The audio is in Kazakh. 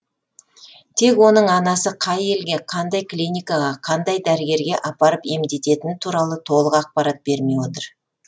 тек оның анасы қай елге қандай клиникаға қандай дәрігерге апарып емдететіні туралы толық ақпарат бермей отыр